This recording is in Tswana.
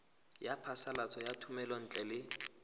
ya phasalatso ya thomelontle le